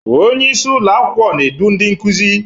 Onye isi ụlọ akwụkwọ na-edu ndị nkuzi.